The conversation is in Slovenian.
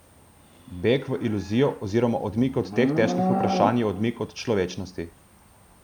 Beg v iluzijo oziroma odmik od teh težkih vprašanj je odmik od človečnosti.